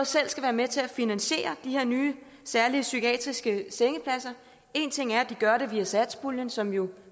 selv skal være med til at finansiere de her nye særlige psykiatriske sengepladser en ting er at det gøres via satspuljen som jo